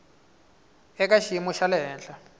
eka xiyimo xa le henhla